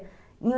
Em